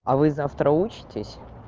а вы завтра учитесь